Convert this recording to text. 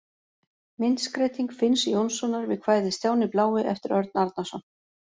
Myndskreyting Finns Jónssonar við kvæðið Stjáni blái eftir Örn Arnarson.